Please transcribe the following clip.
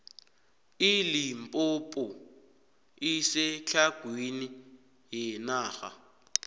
ilimpompo isetlhagwini yenarha